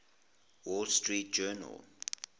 wall street journal